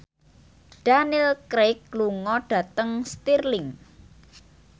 Daniel Craig lunga dhateng Stirling